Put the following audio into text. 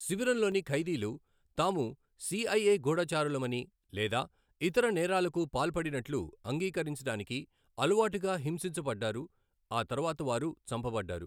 శిబిరంలోని ఖైదీలు, తాము సిఐఏ గూఢచారులమని లేదా ఇతర నేరాలకు పాల్పడినట్లు అంగీకరించడానికి, అలవాటుగా హింసించబడ్డారు, ఆ తర్వాత వారు చంపబడ్డారు.